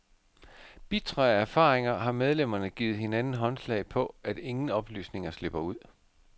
Bitre af erfaringer har medlemmerne givet hinanden håndslag på, at ingen oplysninger slipper ud.